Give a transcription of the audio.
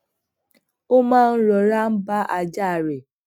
ó maa ń rora n ba aja re